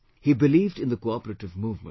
He believed in the cooperative movement